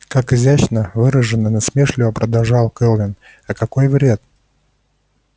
как изящно выражено насмешливо продолжал кэлвин а какой вред